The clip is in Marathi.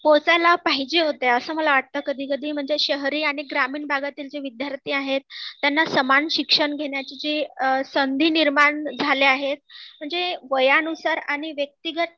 पोहचायला पाहिजे होत्या असं मला वाटतं कधी कधी म्हणजे शहरी आणि ग्रामीण भागातील जे विद्यार्थी आहेत त्यांना समान शिक्षण घेण्याची जी संधी निर्माण झाली आहे म्हणजे वयानुसार आणि व्यक्तिगत